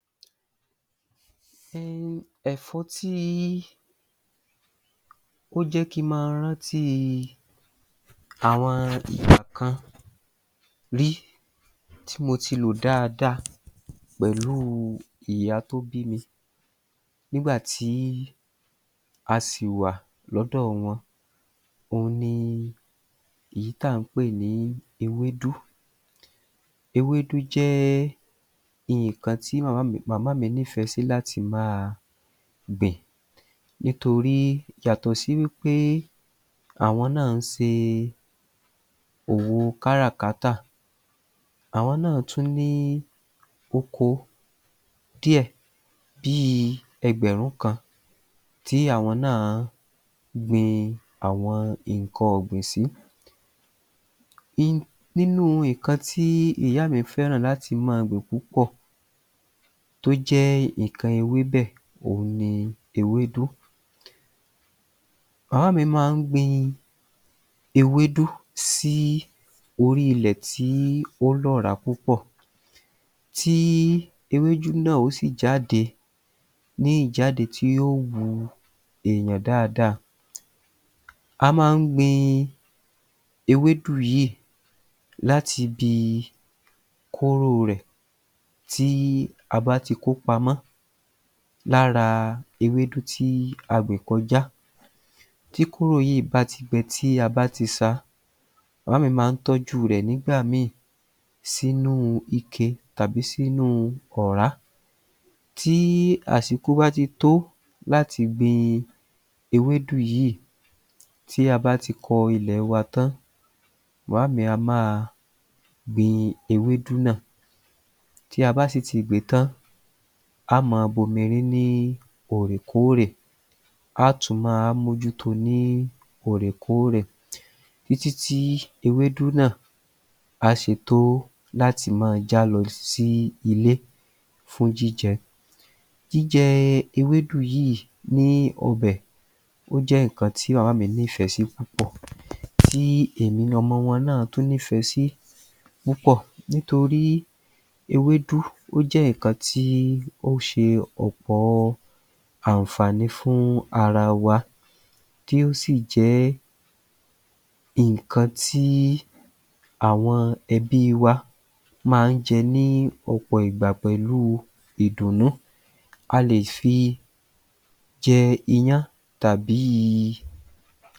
ẹ̀fọ́ tí ó jẹ́ kí n ma rántí àwọn nǹkan rí tí mo ti lò dáadáa pẹ̀lú ìyá tó bími nígbà tí a sì wà lọ́dọ̀ wọn òhun ni ìyí tà ń pè ní ewédú. Ewédú jẹ́ nǹkan ti màmá mi màmá mi nífẹ̀ẹ́ sí láti máa gbìn nítorí yàtọ̀ si wí pé àwọn náà ń se òwo káràkátà, àwọn náà tún ní oko díẹ̀ bí i ẹgbẹ̀rún kan tí àwọn náà gbin àwọn nǹkan ọ̀gbìn sí. nínú nǹkan tí ìyá mi fẹ́ràn láti máa gbìn púpọ̀ tó jẹ́ nǹkan ewébẹ̀, òun ni ewédú. Màmá mi máa ń gbin ewédú sí orí ilẹ̀ tí ó lọ́rà púpọ̀ tí ewédú náà ó sì jáde ní ìjáde tí ó wu èèyàn dáadáa. A máa ń gbin ewédú yìí láti bi kóró rẹ̀ tí a bá ti kópamọ́ lára ewédú tí a gbìn kọjá. Tí kóró yìí ba ti gbẹ tí a bá ti sa, màmá mi má ń tọ́jú rẹ̀ nígbà mi sínú ike tàbí sínú ọ̀rá. Tí àsìkò bá ti tó láti gbin ewedu yìí, tí a bá ti kọ ilẹ̀ wa tán, màmá mi a máa gbin ewedu náà. Tí a bá sì ti gbìn-ín tan, a máa bomi rín òòrèkóòrè, á tùn ma wá mójúto ní òòrèkóòrè títítí ewédú náà á ṣe tó láti ma jálọ sí ilé fún jíjẹ. Jíjẹ ewédú yìí ní ọbẹ̀, ó jẹ́ nǹkan tí màmá mi nífẹ̀ẹ́ sí púpọ̀. Tí èmi ọmọ wọn náà tún nífẹ̀ẹ́ sí púpọ̀ nítorí ewédú ó jẹ́ nǹkan tí ó ṣe ọ̀pọ ànfàní fún ara wa tí ó sì jẹ́ nǹkan tí àwọn ẹbí wa máa ń jẹ ní ọ̀pọ̀ ìgbà pẹ̀lú ìdùnnú. A lè fi jẹ iyán tàbí i